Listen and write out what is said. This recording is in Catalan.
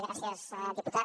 gràcies diputat